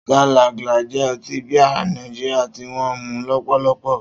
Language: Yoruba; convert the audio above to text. Star Lager jẹ́ ọtí bíà Nàìjíríà tí wọ́n ń mu lọ́pọ̀lọpọ̀.